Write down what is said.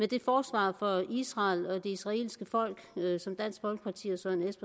det forsvar for israel og det israelske folk